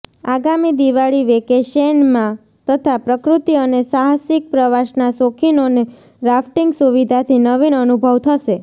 આગામી દિવાળી વિકેશેનમાં તથા પ્રકૃતિ અને સાહસિક પ્રવાસના શોખીનોને રાફ્ટિંગ સુવિધાથી નવીન અનુભવ થશે